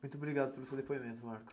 Muito obrigado pelo seu depoimento, Marcos.